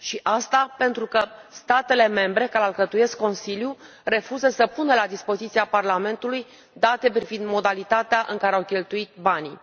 Și asta pentru că statele membre care alcătuiesc Consiliul refuză să pună la dispoziția Parlamentului date privind modalitatea în care au cheltuit banii.